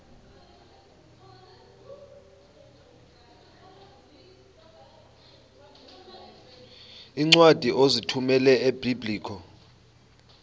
iincwadi ozithumela ebiblecor